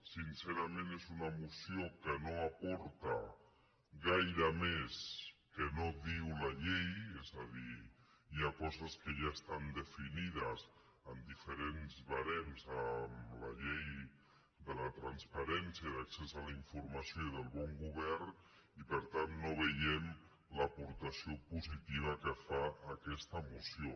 sincerament és una moció que no aporta gaire més que no diu la llei és a dir hi ha coses que ja estan definides en diferents barems en la llei de transparència accés a la informació i bon govern i per tant no veiem l’aportació positiva que fa aquesta moció